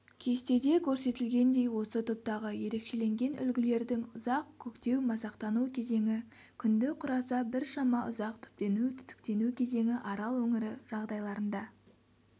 кестеде көрсетілгендей осы топтағы ерекшеленген үлгілердің ұзақ көктеу-масақтану кезеңі күнді құраса біршама ұзақ түптену-түтіктену кезеңі арал өңірі жағдайларында